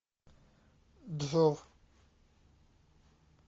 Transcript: джов